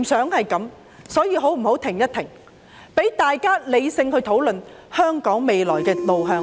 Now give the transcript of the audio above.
我們不想這樣，大家可否停下來，理性討論香港未來的路向？